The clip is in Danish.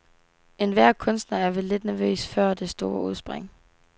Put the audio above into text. Enhver kunstner er vel lidt nervøs før det store udspring.